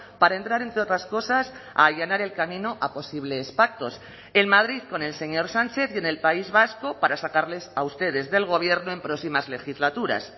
para entrar entre otras cosas a allanar el camino a posibles pactos en madrid con el señor sánchez y en el país vasco para sacarles a ustedes del gobierno en próximas legislaturas